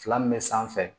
Fila min bɛ sanfɛ